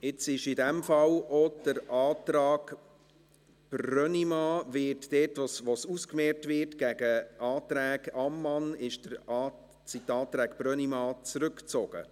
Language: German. In diesem Fall sind jetzt auch die Anträge Brönnimann, dort wo sie gegen die Anträge Ammann ausgemehrt würden, zurückgezogen.